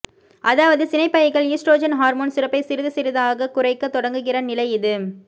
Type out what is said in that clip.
அதாவது சினைப்பைகள் oestrogen hormone சுரப்பை சிறிது சிறிதாகக் குறைக்கத் தொடங்குகிற நிலை இது